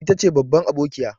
Ita ce babban abokiya.